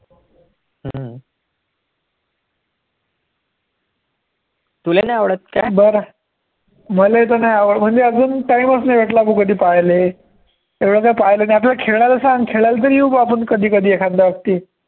तुले नाही आवडतं काय, बरं मले तर नाही आवडतं म्हणजे अजून time च नाही भेटला भो पहायले, एवढं काही पाहिलं नाही, आपल्याला खेळायला सांग खेळायला तर येऊ कधी कधी आपण एखाद बार